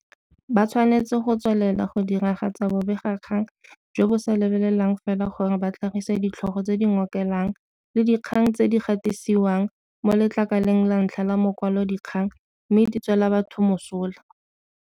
Ba tshwanetse go tswelela go diragatsa bobegakgang jo bo sa lebelelang fela gore ba tlhagise ditlhogo tse di ngokelang le dikgang tse di gatisiwang mo letlakaleng la ntlha la makwalodikgang mme di tswela batho mosola.